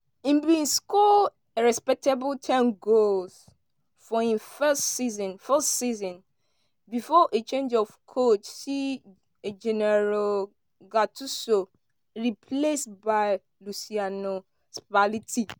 im bin score a respectable ten goals for im first season first season bifor a change of coach see gennaro gattuso replaced by luciano spalletti.